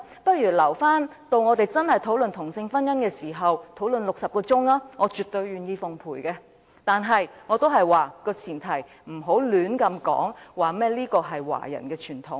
不如留待我們真正討論同性婚姻時才進行60小時的辯論，我絕對願意奉陪；但是，我仍然要說，前提是不要亂說這是華人的傳統。